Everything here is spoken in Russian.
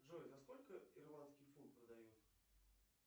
джой за сколько ирландский фунт продают